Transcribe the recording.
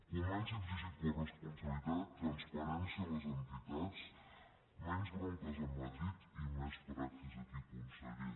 comenci a exigir coresponsabilitat transparència a les entitats menys bronques a madrid i més praxis aquí conseller